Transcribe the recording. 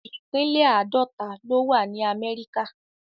ipínlẹ̀ Àdọ̀tà lo wà ni Àmẹríkà